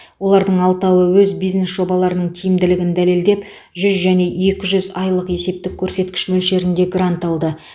олардың алтауы өз бизнес жобаларының тиімділігін дәлелдеп жүз және екі жүз айлық есептік көрсеткіш мөлшерінде грант алды